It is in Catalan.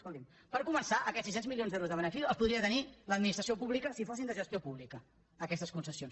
escolti’m per començar aquests sis cents milions d’euros de benefici els podria tenir l’administració pública si fossin de gestió pública aquestes concessions